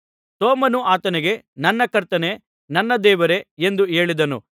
ತೋಮನು ಆತನಿಗೆ ನನ್ನ ಕರ್ತನೇ ನನ್ನ ದೇವರೇ ಎಂದು ಹೇಳಿದನು